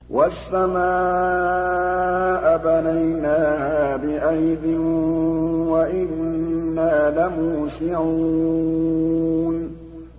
وَالسَّمَاءَ بَنَيْنَاهَا بِأَيْدٍ وَإِنَّا لَمُوسِعُونَ